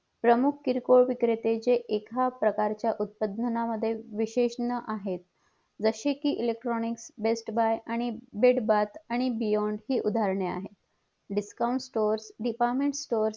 प्रमुख किरकोळ विक्रेते जे एका प्रकारच्या उत्पादनामध्ये विशेषण आहेत जसे कि electronic best buy आणि D on हि उदाहरणे आहेत discount store department store हि आहेत